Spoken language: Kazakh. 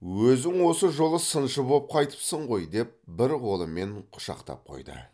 өзің осы жолы сыншы боп қайтыпсың ғой деп бір қолымен құшақтап қойды